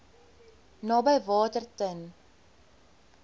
naby water ten